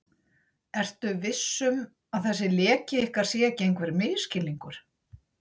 Ertu viss um, að þessi leki ykkar sé ekki einhver misskilningur?